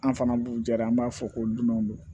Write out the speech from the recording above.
An fana b'u ja de an b'a fɔ ko dunanw do